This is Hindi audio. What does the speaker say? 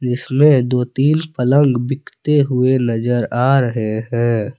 इसमें दो तीन पलंग बिकते हुए नजर आ रहे हैं।